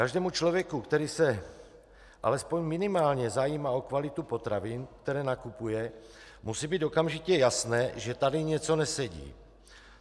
Každému člověku, který se alespoň minimálně zajímá o kvalitu potravin, které nakupuje, musí být okamžitě jasné, že tady něco nesedí.